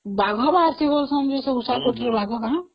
ବାଘ ବାହାରୁଛନ୍ତି ବୋଲି କହୁଛନ୍ତି ସବୁ